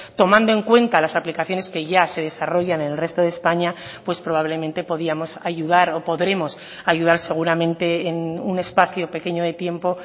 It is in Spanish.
tomando en cuenta las aplicaciones que ya se desarrollan en el resto de españa pues probablemente podíamos ayudar o podremos ayudar seguramente en un espacio pequeño de tiempo